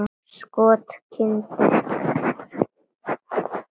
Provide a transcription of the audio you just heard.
Skot: Grind.